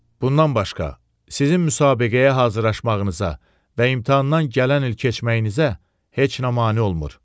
Bundan başqa, sizin müsabiqəyə hazırlaşmağınıza və imtahandan gələn il keçməyinizə heç nə mane olmur.